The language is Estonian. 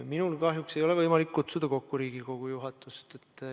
Minul kahjuks ei ole võimalik kutsuda kokku Riigikogu juhatust.